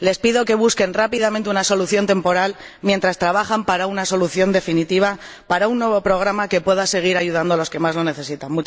Les pido que busquen rápidamente una solución temporal, mientras trabajan en una solución definitiva, en un nuevo programa que pueda seguir ayudando a los que más lo necesitan.